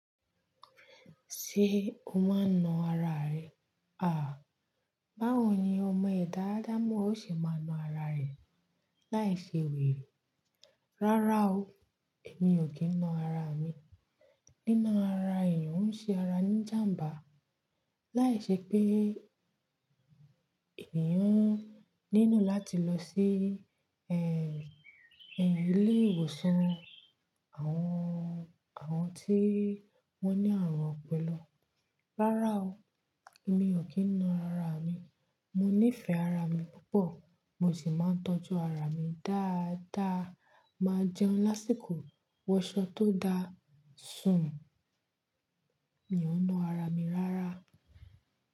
Ṣé o máa ń na ara rẹ? Àh! Báwo ni ọmọ ẹ̀dá adamo ó ṣe máa na ara rẹ̀ láì ṣe wèrè? Rárá o, èmi ò kí ń na ara mi. Nína ara èèyàn ń ṣe ara ní ìjàǹbá. Láìṣẹ pé èniyàn nílo láti lọ sí, ẹ, ẹ, ilé ìwòsàn àwọn, àwọn tí wón ní àrùn ọpọlọ. Rárá o, èmi ò kí ń na ara mi. Mo nífẹ̀ẹ́ ara mi púpọ̀, mo sì máa ń tọ́jú ara mi dáadáa. Máa jẹun lásìkò, wọṣọ tó da, sùn. Mi ò ń na ara mi rárá.